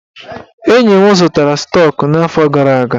Enyi m zụtara stọk n'afọ gara aga.